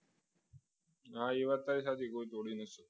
આ એવા તારી સાચી કોઈ તોડી નથી શકતું